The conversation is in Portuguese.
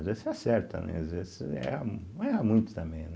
Às vezes você acerta, né, às vezes você erra, erra muito também, né?